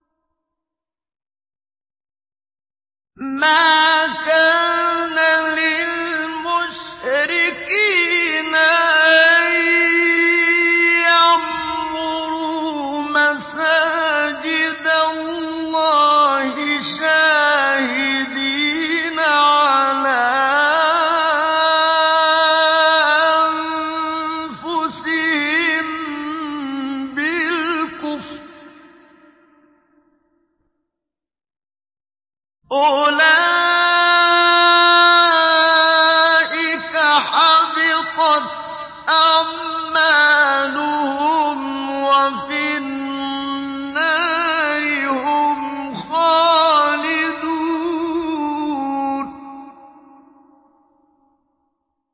مَا كَانَ لِلْمُشْرِكِينَ أَن يَعْمُرُوا مَسَاجِدَ اللَّهِ شَاهِدِينَ عَلَىٰ أَنفُسِهِم بِالْكُفْرِ ۚ أُولَٰئِكَ حَبِطَتْ أَعْمَالُهُمْ وَفِي النَّارِ هُمْ خَالِدُونَ